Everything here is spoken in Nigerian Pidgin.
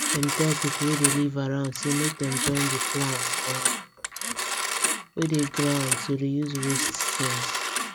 dem tell people wey dey live around say make dem join the plan um wey dey ground to reuse waste things